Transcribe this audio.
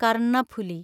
Karnaphuli